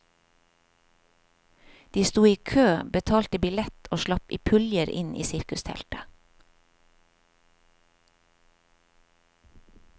De sto i kø, betalte billett og slapp i puljer inn i sirkusteltet.